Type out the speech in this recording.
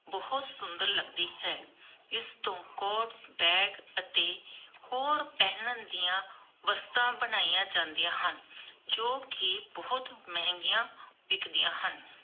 ਬਹੁਤ ਸੁੰਦਰ ਲੱਗਦੀ ਹੈ, ਇਸਤੋਂ ਕੋਟ, ਬੈਗ ਅਤੇ ਹੋਰ ਪਹਿਨਣ ਦੀਆਂ ਵਸਤੂਆਂ ਬਣਾਈਆਂ ਜਾਂਦੀਆਂ ਹਨ ਜੋ ਕਿ ਬਹੁਤ ਮਹਿੰਗੀਆਂ ਵਿਕਦੀਆਂ ਹਨ.